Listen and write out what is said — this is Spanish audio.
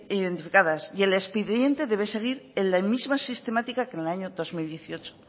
identificadas y el expediente debe seguir en la misma sistemática que en el año dos mil dieciocho